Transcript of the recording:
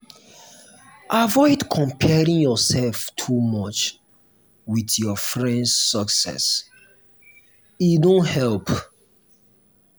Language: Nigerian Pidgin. avoid comparing yourself too much with your friend’s success; e no help.